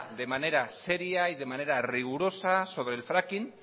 de manera seria y de manera rigurosa sobre el fracking